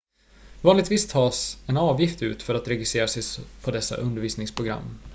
vanligtvis tas en avgift ut för att registrera sig på dessa undervisningsprogram